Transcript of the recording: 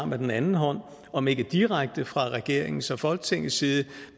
med den anden hånd om ikke direkte fra regeringens og folketingets side